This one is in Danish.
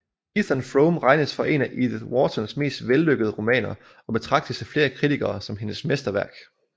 Ethan Frome regnes for en af Edith Whartons mest vellykkede romaner og betragtes af flere kritikere som hendes mesterværk